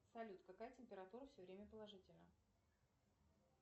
салют какая температура все время положительна